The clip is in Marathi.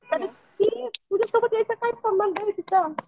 तरी ती तिझ्यासोबत यायचा काय संबंध आहे तिचा?